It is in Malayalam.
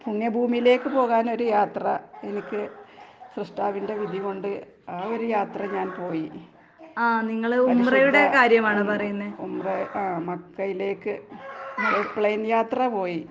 പുണ്യഭൂമിയിലേക്ക് പോകാനൊര് യാത്ര എനിക്ക് സൃഷ്ടാവിന്റെ വിധികൊണ്ട് ആ ഒരു യാത്ര ഞാൻ പോയി. പരിശുദ്ധ ഉം ഉംറ ആഹ് മക്കയിലേക്ക് ഒരു പ്ലെയിൻ യാത്ര പോയി.